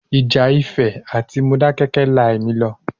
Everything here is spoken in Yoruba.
Ìjà Ifẹ̀ àti Modákẹ́kẹ́ la ẹ̀mí lọ.